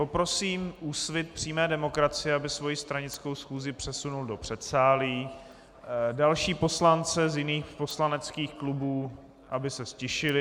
Poprosím Úsvit přímé demokracie, aby svoji stranickou schůzi přesunul do předsálí, další poslance z jiných poslaneckých klubů, aby se ztišili.